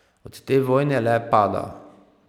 Od te vojne le pada.